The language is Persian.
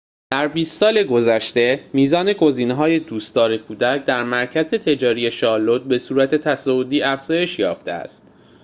در ۲۰ سال گذشته میزان گزینه‌های دوستدار کودک در مرکز تجاری شارلوت به‌صورت تصاعدی افزایش یافته است